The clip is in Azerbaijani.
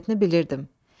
Xasiyyətini bilirdim.